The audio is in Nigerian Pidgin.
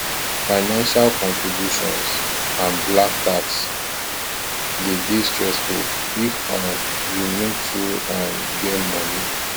financial contributions and black tax de dey stessfull if um you no too um get money